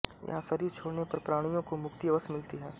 यहां शरीर छोडने पर प्राणियों को मुक्ति अवश्य मिलती है